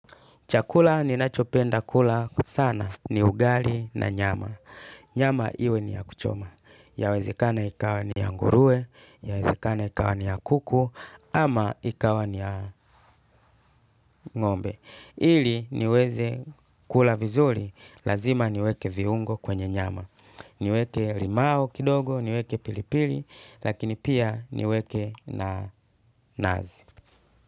Chakula ni nachopenda kula sana ni ugali na nyama. Nyama iwe ni ya kuchoma. Ya wezekana ikawa ni ya nguruwe, ya wezekana ikawa ni ya kuku, ama ikawa ni ya ngombe. Ili niweze kula vizuri, lazima niweke viungo kwenye nyama. Niweke limau kidogo, niweke pilipili, lakini pia niweke nanasi.